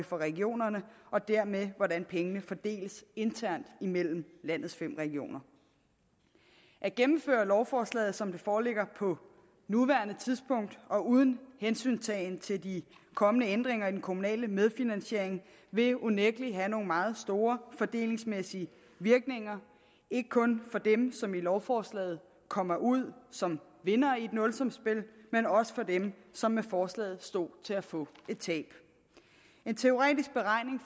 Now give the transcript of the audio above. for regionerne og dermed for hvordan pengene fordeles internt mellem landets fem regioner at gennemføre lovforslaget som det foreligger på nuværende tidspunkt og uden hensyntagen til de kommende ændringer i den kommunale medfinansiering vil unægtelig have nogle meget store fordelingsmæssige virkninger ikke kun for dem som i lovforslaget kommer ud som vinder i et nulsumsspil men også for dem som med forslaget står til at få et tab en teoretisk beregning